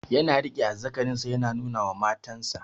Ya riƙe azzakarin sa yana nuna wa matan sa